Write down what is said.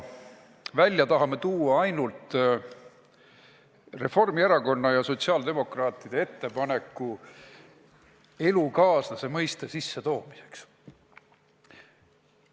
Välja tahame võtta ainult Reformierakonna ja sotsiaaldemokraatide ettepaneku elukaaslase mõiste sissetoomiseks.